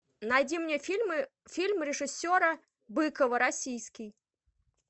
найди мне фильмы фильм режиссера быкова российский